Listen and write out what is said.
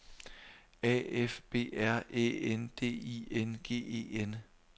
A F B R Æ N D I N G E N